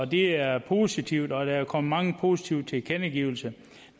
det er positivt og der er kommet mange positive tilkendegivelser